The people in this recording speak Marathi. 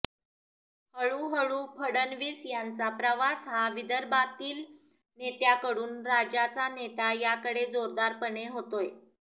हळूहळू फडणवीस यांचा प्रवास हा विदर्भातील नेत्याकडून राज्याचा नेता याकडे जोरदारपणे होतोय